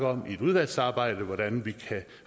om i et udvalgsarbejde hvordan vi kan